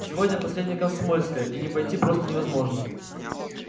сегодня последнее комсомольское и не пойти просто невозможно